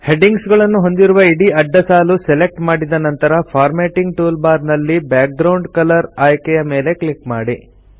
headings ಗಳನ್ನು ಹೊಂದಿರುವ ಇಡೀ ಅಡ್ಡ ಸಾಲು ಸೆಲೆಕ್ಟ್ ಮಾಡಿದ ನಂತರ ಫಾರ್ಮ್ಯಾಟಿಂಗ್ ಟೂಲ್ ಬಾರ್ ನಲ್ಲಿ ಬ್ಯಾಕ್ಗ್ರೌಂಡ್ ಕಲರ್ ಆಯ್ಕೆಯ ಮೇಲೆ ಕ್ಲಿಕ್ ಮಾಡಿ